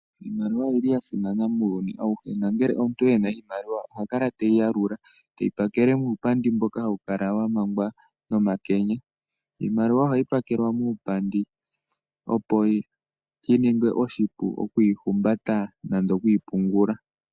Iimaliwa oyili yasimana muyuni awuhe nangele omuntu ena iimaliwa ohakala te yi yalula, te yi pakele muupandi mboka ha wu kala wa mangwa nomakenya. Iimaliwa ohayi pakelwa muupandi opo shininge oshipu okuyihumbata nande okuyipungula.